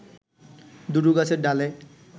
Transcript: দুটো গাছের ডালে